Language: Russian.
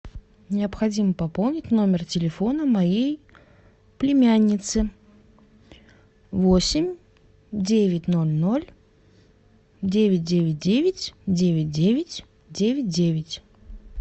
необходимо пополнить номер телефона моей племянницы восемь девять ноль ноль девять девять девять девять девять девять девять